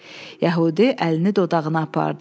Yəhudi əlini dodağına apardı.